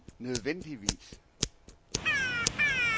nødvendigvis